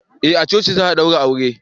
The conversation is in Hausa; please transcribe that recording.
eh a coci za a daure aure